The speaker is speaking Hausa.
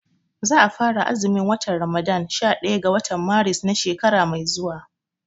Za a fara azumin watan Ramadan sha ɗaya ga watan Maris na shekara mai zuwa